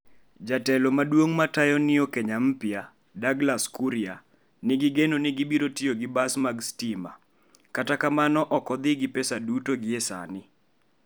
Jatelo maduong matayo Neo Kenya Mpya Douglas Kuria nigi geno ni gibiro tiyo gi bas mag stima, kata kamano ok odhi "gi pesa duto" gie sani.